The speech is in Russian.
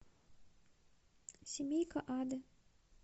семейка ада